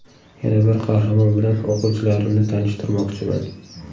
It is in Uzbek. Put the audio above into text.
Yana bir qahramonim bilan o‘quvchilarimni tanishtirmoqchiman.